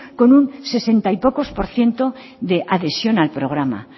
con un sesenta y pocos por ciento de adhesión al programa